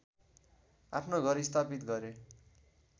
आफ्नो घर स्थापित गरे